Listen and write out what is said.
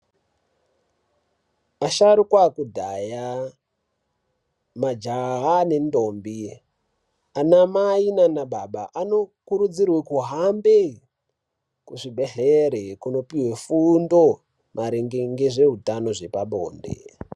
Asharuka ekudhaya majaha ne ndombi ana mai nana baba ano kurudzirwe kuhambe ku zvibhedhleri kuno pihwe fundo maringe ngezve utano hwepa bonde.